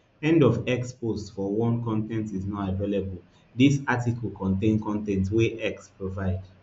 end of x post one con ten t is not available dis article contain con ten t wey x provide